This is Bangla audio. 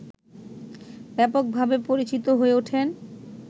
ব্যাপকভাবে পরিচিত হয়ে ওঠেন